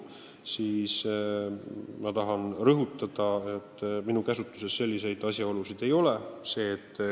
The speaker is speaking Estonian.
Ma tahan rõhutada, et mina sellistest asjaoludest ei tea.